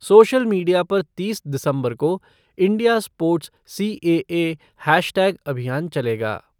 Social media पर तीस दिसंबर को इंडिया स्पोर्ट सीएए हैशटैग अभियान चलेगा।